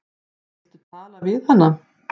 Viltu tala við hana?